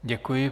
Děkuji.